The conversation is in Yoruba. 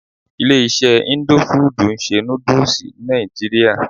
Ilé iṣé indo fudù ń ṣe nódúsì ní nàìjíría.